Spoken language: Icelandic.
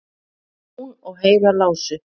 Hún og Heiða lásu